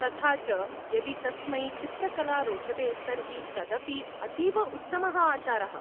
तथा च, यदि तस्मै चित्रकला रोचते तर्हि तदपि अतीव उत्तमः आचारः।